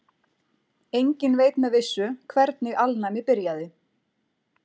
Enginn veit með vissu hvernig alnæmi byrjaði.